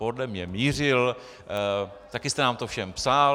Podle mne mířil, taky jste nám to všem psal.